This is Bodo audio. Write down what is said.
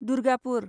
दुर्गापुर